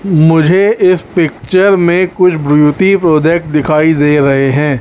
मुझे इस पिक्चर में कुछ ब्यूटी प्रोडक्ट दिखाई दे रहे हैं।